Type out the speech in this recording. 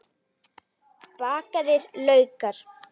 Bakaðir laukar